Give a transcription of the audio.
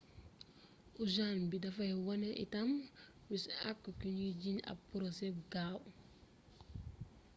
ojaans bi dafay wone itam bisu àqu kiñuy jiiñ ab porosé bu gaaw